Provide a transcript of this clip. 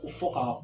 U fɔ ka